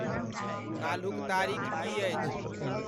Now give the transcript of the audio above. काल्हुक तारीख की अछि?